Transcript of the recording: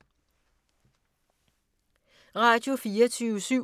Radio24syv